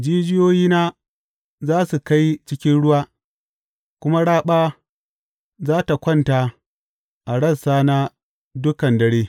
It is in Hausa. Jijiyoyina za su kai cikin ruwa, kuma raɓa za tă kwanta a rassana dukan dare.